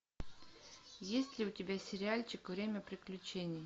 есть ли у тебя сериальчик время приключений